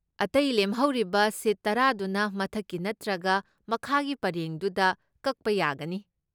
ꯑꯇꯩ ꯂꯦꯝꯍꯧꯔꯤꯕ ꯁꯤꯠ ꯇꯔꯥꯗꯨꯅ ꯃꯊꯛꯀꯤ ꯅꯠꯇ꯭ꯔꯒ ꯃꯈꯥꯒꯤ ꯄꯔꯦꯡꯗꯨꯗ ꯀꯛꯄ ꯌꯥꯒꯅꯤ꯫